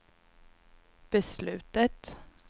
beslutet